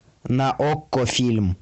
на окко фильм